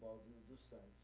do Santos.